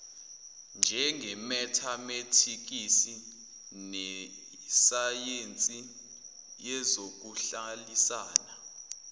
njengemetametikisi nesayensi yezokuhlalisana